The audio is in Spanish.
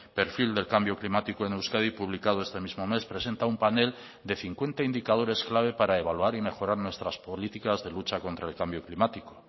perfil del cambio climático en euskadi publicado este mismo mes presenta un panel de cincuenta indicadores clave para evaluar y mejorar nuestras políticas de lucha contra el cambio climático